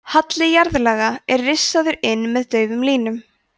halli jarðlaga er rissaður inn með daufum línum